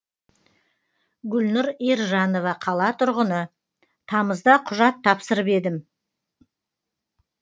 гүлнұр ержанова қала тұрғыны тамызда құжат тапсырып едім